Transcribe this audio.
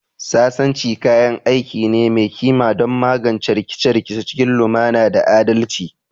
Sasanci kayan aiki ne mai kima don magance rikice-rikice cikin lumana da adalci